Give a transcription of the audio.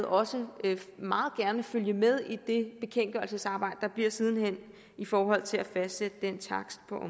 også meget gerne følge med i det bekendtgørelsesarbejde der bliver siden hen i forhold til at fastsætte den takst på